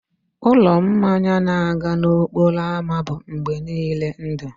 ụlọ mmanya na-aga n'okporo ámá bụ mgbe niile ndụ